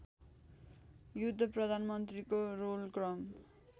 युद्ध प्रधानमन्त्रीको रोलक्रम